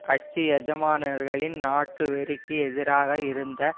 கட்சி எஜமானர்களின் நாட்டுவெறிக்கு எதிராக இருந்த